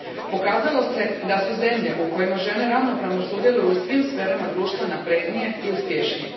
Pokazalo se da su zemlje u kojima žene ravnopravno sudjeluju u svim sferama društva naprednije i uspješnije.